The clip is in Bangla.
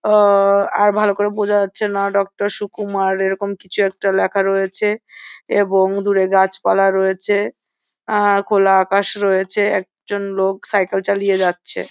অ- ভালো করে বোঝা যাছে না ডক্টর সুকুমার এরকম কিছু একটা লেখা রয়েছে এবং দূরে গাছপালা রয়েছে আ খোলা আকাশ রয়েছে একজন লোক সাইকেল চালিয়ে যাচ্ছে।